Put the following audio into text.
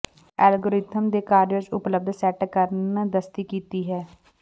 algorithm ਦੇ ਕਾਰਜ ਵਿੱਚ ਉਪਲੱਬਧ ਸੈੱਟ ਕਰਨ ਦਸਤੀ ਕੀਤੀ ਹੈ